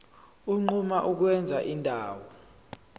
unquma ukwenza indawo